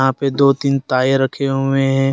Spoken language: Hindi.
यहां पर दो तीन ताये रखें हुए हैं।